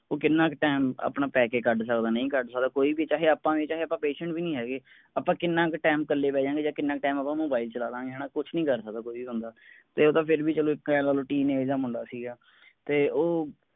ਉਹ ਕਿੰਨਾ ਕ time ਆਪਣਾ ਬਹਿ ਕੇ ਕੱਢ ਸਕਦਾ ਨਹੀਂ ਕੱਢ ਸਕਦਾ ਕੋਈ ਵੀ ਚਾਹੇ ਕੋਈ ਵੀ ਚਾਹੇ ਆਪਾਂ ਵੀ ਚਾਹੇ ਆਪਾਂ patient ਵੀ ਨੀ ਹੈਗੇ ਆਪਾਂ ਕਿੰਨਾ ਕ time ਕੱਲੇ ਬਹਿ ਜਾਂ ਗਏ ਜਾਂ ਕਿੰਨਾ ਕ time ਆਪਾਂ mobile ਚਲਾ ਲਾਂ ਗੇ ਹੈਨਾ ਕੁਛ ਨੀ ਕਰ ਸਕਦੇ ਕੋਈ ਵੀ ਬੰਦਾ ਤੇ ਉਹ ਤਾਂ ਫੇਰ ਵੀ ਚਲੋ ਇੱਕ teenage ਜੇਹਾ ਮੁੰਡਾ ਸੀਗਾ